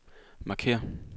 markér